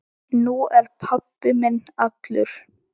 Nú er pabbi minn allur.